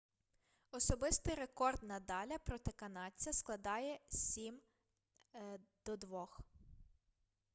особистий рекорд надаля проти канадця складає 7-2